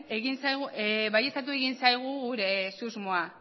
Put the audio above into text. baieztatu egin zaigu gure susmoa